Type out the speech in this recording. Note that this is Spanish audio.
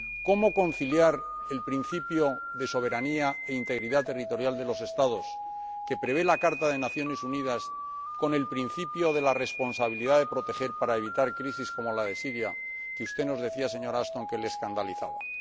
¿Cómo conciliar el principio de soberanía e integridad territorial de los Estados, que prevé la Carta de las Naciones Unidas, con el principio de la responsabilidad de proteger para evitar crisis como la de Siria, que usted nos decía, señora Ashton, que le escandalizaba?